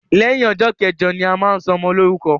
Lẹyìn ọjọ́ kẹjọ ni a máa ń ṣọmọ lórúkọ